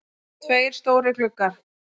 Tveir stórir gluggar.